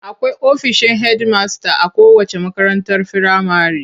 Akwai ofishin hedimasta a kowacce makarantar firamare.